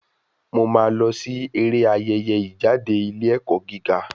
Mo máa lọ sí eré Ayẹyẹ ìjáde ilé ẹ̀kọ́ gíga.